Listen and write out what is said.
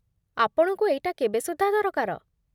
ଆପଣଙ୍କୁ ଏଇଟା କେବେ ସୁଦ୍ଧା ଦରକାର?